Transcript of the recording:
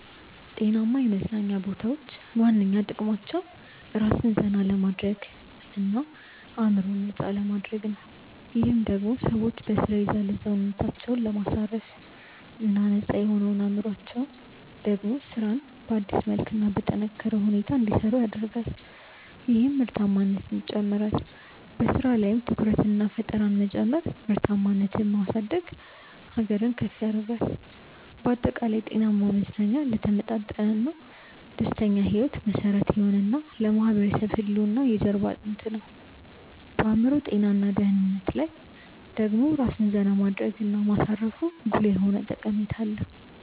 ጤናማ የመዝናኛ ቦታዎች ዋነኛ ጥቅማቸው ራስን ዘና ለማድረግ እና አዕምሮን ነፃ ለማድረግ ነው። ይህም ደሞ ሰዎች በሥራ የዛለ ሰውነታቸውን ለማሳረፍ እና ነፃ የሆነው አዕምሮአቸው ደሞ ስራን በአዲስ መልክ እና በጠነካረ ሁኔታ እንዲሰሩ ያደርጋል ይህም ምርታማነትን ይጨምራል። በሥራ ላይም ትኩረትንና ፈጠራን መጨመር ምርታማነትን የማሳደግ ሀገርን ከፍ ያደርጋል። ባጠቃላይ፣ ጤናማ መዝናኛ ለተመጣጠነና ደስተኛ ሕይወት መሠረት የሆነ እና ለማህበረሰብ ህልውና የጀርባ አጥንት ነው። በአዕምሮ ጤና እና ደህንነት ላይ ደሞ ራስን ዜና ማድረግ እና ማሳረፉ ጉልህ የሆነ ጠቀሜታ አለው።